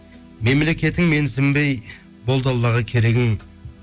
мемлекетің менсінбей болды аллаға керегің